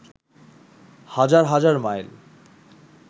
হাজার হাজার মাইল